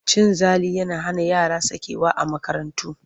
Cin zali yana hana yara sakewa a makarantu.